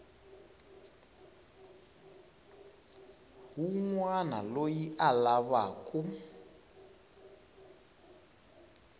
wun wana loyi a lavaku